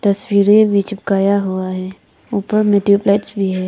तस्वीरें भी चिपकाया हुआ है ऊपर में ट्यूब लाइट्स भी हैं।